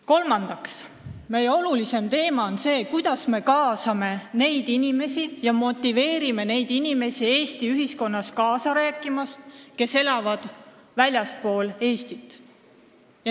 Kolmandaks, meie jaoks on väga oluline teema see, kuidas me kaasame ja motiveerime oma sõna ütlema neid meie inimesi, kes elavad väljaspool Eestit.